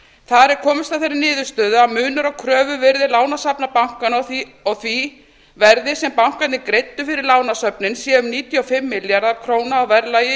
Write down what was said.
þar er komist að þeirri niðurstöðu að munur á kröfuvirði lánasafna bankanna og því verði sem bankarnir greiddu fyrir lánasöfnin sé um níutíu og fimm milljarðar króna í verðlagi í